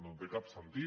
no té cap sentit